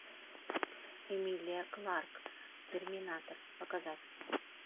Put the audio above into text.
эмилия кларк терминатор показать